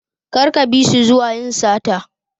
Kar ka bisu zuwa yin sata.